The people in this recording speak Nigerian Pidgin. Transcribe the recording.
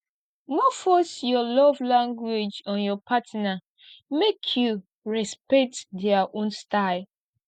no force your love language on your partner make you respect their own style